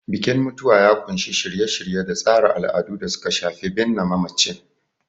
Bikin mutuwa ya ƙunshi shirye-shirye da tsara al'adu da suka shafi binne mamacin.